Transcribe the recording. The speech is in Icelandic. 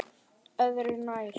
Öðru nær.